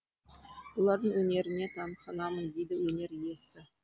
бұлардың өнеріне тамсанамын дейді өнер иесі